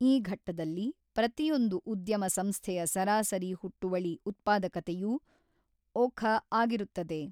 ಈ ಘಟ್ಟದಲ್ಲಿ ಪ್ರತಿಯೊಂದು ಉದ್ಯಮ ಸಂಸ್ಥೆಯ ಸರಾಸರಿ ಹುಟ್ಟುವಳಿ ಉತ್ಪಾದಕತೆಯೂ ಒಖ ಆಗಿರುತ್ತದೆ.